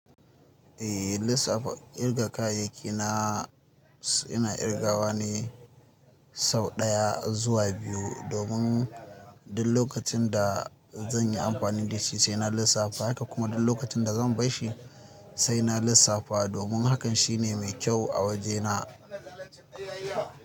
Eh, lissafa kirga kayayyaki na ina kirgawa ne sau ɗaya zuwa biyu domin duk lokacin da zan yi amfani da shi sai na lissafa haka kuma duk lokacin da zan bar shi sai na lissafa domin hakan shine mai kyau a wajena.